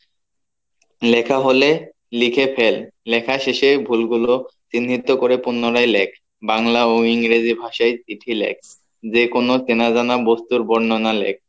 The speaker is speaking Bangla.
লেখা হলে লিখে ফেল লেখার শেষে ভুল গুলো চিহ্নিত করে পুনরায় লেখ বাংলা ও ইংরেজি ভাষায় চিঠি লেখ যে কোনো চেনা জানা বস্তুর বর্ণনা লেখ